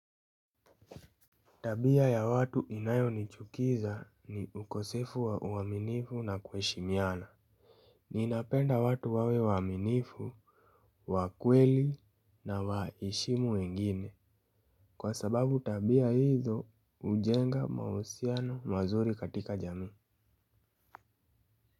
Tabia ya watu inayo nichukiza ni ukosefu wa uaminifu na kuheshimiana. Ni napenda watu wawe waaminifu, wakweli na waheshimu wengine. Kwa sababu tabia hizo hujenga mahusiano mazuri katika jami.